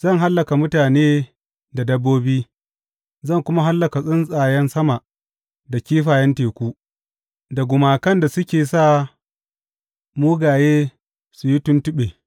Zan hallaka mutane da dabbobi; zan kuma hallaka tsuntsayen sama da kifayen teku, da gumakan da suke sa mugaye su yi tuntuɓe.